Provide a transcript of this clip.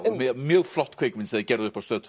mjög mjög flott kvikmynd sem þeir gerðu upp á Stöð